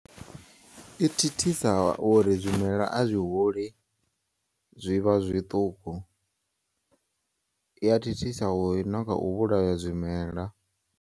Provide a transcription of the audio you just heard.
I thithisa uri zwimela azwi huli, zwivha zwiṱuku, iya thithisa na kha u vhulaya zwimela.